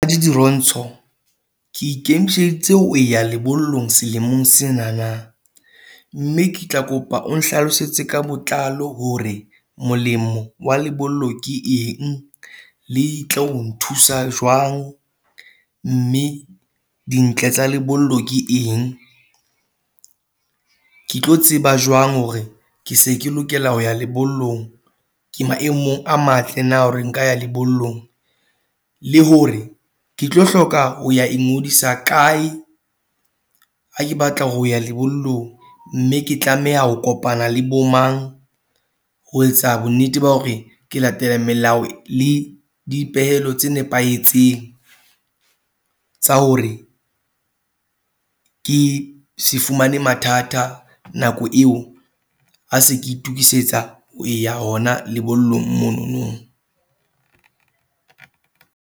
Dirontsho, ke ikemiseditse hoya lebollong selemong sena na mme ke tla kopa o nhlalosetse ka botlalo hore molemo wa lebollo ke eng, le tlo nthusa jwang mme dintle tsa lebollo ke eng, ke tlo tseba jwale hore ke se ke lokela ho ya lebollong. Ke maemong a matle, na hore nka ya lebollong le hore ke tlo hloka ho ya ingodisa kae ha ke batla ho ya lebollong mme ke tlameha ho kopana le bo mang ho etsa bonnete ba hore ke latele melao le dipehelo tse nepahetseng tsa hore ke se fumane mathata nako eo a se ke itokisetsa ho ya hona lebollong mono no.